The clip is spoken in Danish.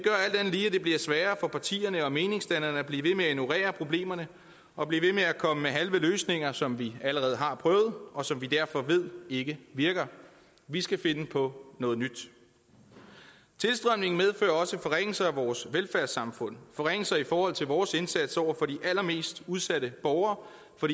bliver sværere for partierne og meningsdannerne at blive ved med at ignorere problemerne og blive ved med at komme med halve løsninger som vi allerede har prøvet og som vi derfor ved ikke virker vi skal finde på noget nyt tilstrømningen medfører også forringelser af vores velfærdssamfund forringelser i forhold til vores indsats over for de allermest udsatte borgere